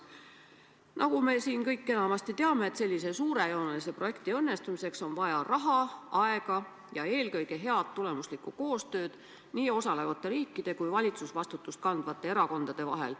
Nagu me siin kõik teame, sellise suurejoonelise projekti õnnestumiseks on vaja raha, aega ja eelkõige head, tulemuslikku koostööd nii osalevate riikide kui ka valitsusvastutust kandvate erakondade vahel.